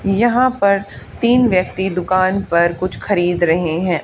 यहां पर तीन व्यक्ति दुकान पर कुछ खरीद रहे है।